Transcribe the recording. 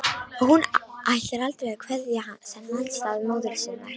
Og hún ætlar aldrei að kveðja þennan stað móður sinnar.